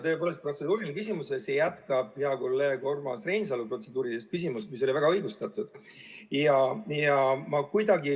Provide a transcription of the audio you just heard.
Tõepoolest protseduuriline küsimus ja see jätkab hea kolleegi Urmas Reinsalu protseduurilist küsimust, mis oli väga õigustatud.